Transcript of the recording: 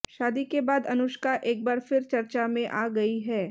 शादी के बाद अनुष्का एक बार फिर चर्चा में आ गई हैं